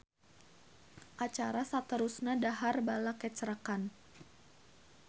Acara saterusna dahar balakecrakan